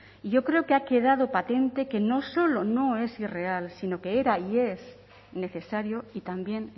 y yo creo que ha quedado patente que no solo no es irreal sino que era y es necesario y también